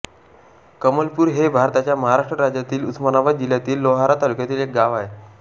कमलपूर हे भारताच्या महाराष्ट्र राज्यातील उस्मानाबाद जिल्ह्यातील लोहारा तालुक्यातील एक गाव आहे